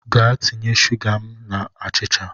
Jee tinye suga n’ime achịcha